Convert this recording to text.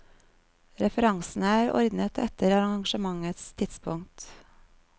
Referansene er ordnet etter arragementets tidspunkt.